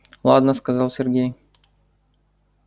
ладно сказал сергей